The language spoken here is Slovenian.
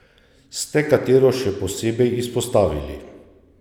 Ste katero še posebej izpostavili?